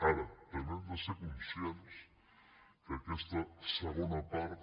ara també hem de ser conscients que aquesta segona part